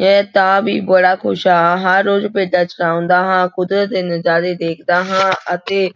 ਮੈਂ ਤਾਂ ਵੀ ਬੜਾ ਖ਼ੁਸ਼ ਹਾਂ, ਹਰ ਰੋਜ਼ ਭੇਡਾਂ ਚਰਾਉਂਦਾ ਹਾਂਂ, ਕੁਦਰਤ ਦੇ ਨਜ਼ਾਰੇ ਦੇਖਦਾ ਹਾਂ ਅਤੇ